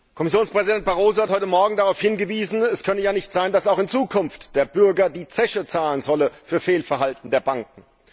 Kommissionspräsident Barroso hat heute Morgen darauf hingewiesen, es könne ja nicht sein, dass auch in Zukunft der Bürger die Zeche zahlen solle für Fehlverhalten der Banken.